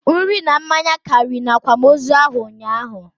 Nri na mmanya karị na akwamozu ahụ ụnyaahụ